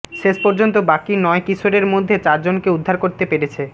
শেষপর্যন্ত বাকি নয় কিশোরের মধ্যে চারজনকে উদ্ধার করতে পেরেছে